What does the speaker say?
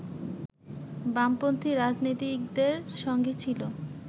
বামপন্থী রাজনীতিকদের সঙ্গে ছিল